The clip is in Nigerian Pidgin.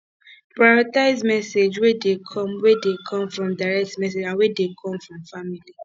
prioritize messages wey de come wey de come from direct message and wey dey come family